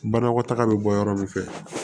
Banakɔtaga bɛ bɔ yɔrɔ min fɛ